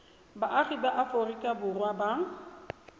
baagi ba aforika borwa ba